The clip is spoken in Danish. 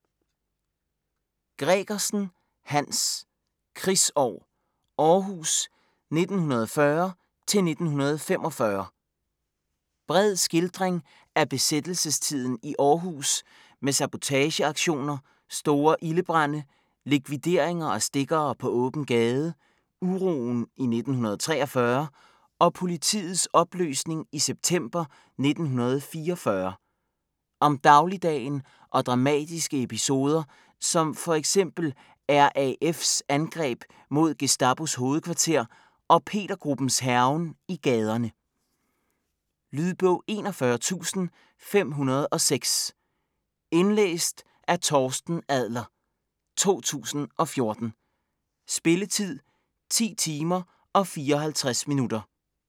Gregersen, Hans: Krigsår - Aarhus 1940-1945 Bred skildring af besættelsestiden i Aarhus med sabotageaktioner, store ildebrande, likvideringer af stikkere på åben gade, uroen i 1943 og politiets opløsning i september 1944. Om dagligdagen og dramatiske episoder som f.eks. RAF's angreb mod Gestapos hovedkvarter og Petergruppens hærgen i gaderne. Lydbog 41506 Indlæst af Torsten Adler, 2014. Spilletid: 10 timer, 54 minutter.